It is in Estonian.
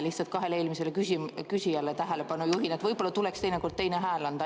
Lihtsalt juhin kahe eelmise küsija tähelepanu, et võib-olla tuleks teinekord teine hääl anda.